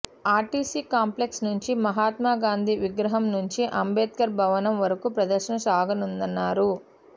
RTC complex నుంచి మహాత్మాగాంధీ విగ్రహం నుంచి అంబేద్కర్ భవనం వరకు ప్రదర్శన సాగనుందన్నారు